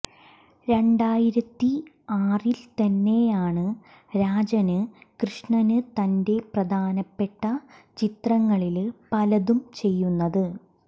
രണ്ടായിരത്തി ആറില്ത്തന്നെയാണ് രാജന് കൃഷ്ണന് തന്റെ പ്രധാനപ്പെട്ട ചിത്രങ്ങളില് പലതും ചെയ്യുന്നത്